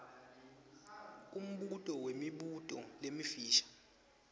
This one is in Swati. umbuto wemibuto lemifisha